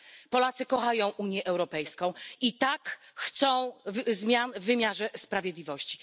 Tak, Polacy kochają Unię Europejską, i tak, chcą zmian w wymiarze sprawiedliwości.